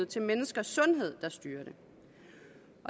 til menneskers sundhed der styrer det